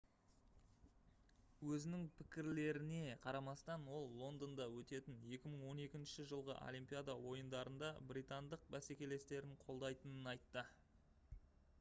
өзінің пікірлеріне қарамастан ол лондонда өтетін 2012 жылғы олимпиада ойындарында британдық бәсекелестерін қолдайтынын айтты